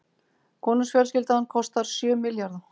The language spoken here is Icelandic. Konungsfjölskyldan kostar sjö milljarða